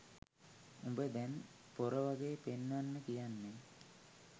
උඹ දැන් පොර වගේ පෙන්වන්න කියන්නේ